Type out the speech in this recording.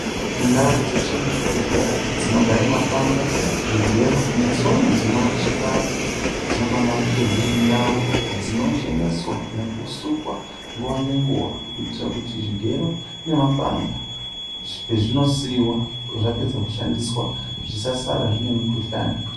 Ndau dzeshe muzvibhedhlera dzinogara mapanga zvigero netsono zvinocheka antu dzinofana kunge dziri ndau dzinocheneswa nekusukwa nguwa ngenguwa kuitira kuti zvigero nemapanga pazvinosiiwa zvapedza kushandiswa zvisasara zvine mikuhlani.